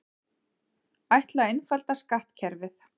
Ætla að einfalda skattkerfið